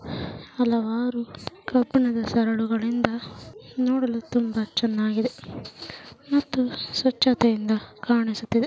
ಹಲವಾರು ಕಬ್ಬಿಣದ ಸರಳುಗಳಿಂದ ನೋಡಲು ತುಂಬಾ ಚೆನ್ನಾಗಿದೆ ಮತ್ತು ಸ್ವಚ್ಛತೆಯಿಂದ ಕಾಣಿಸುತ್ತಿದೆ.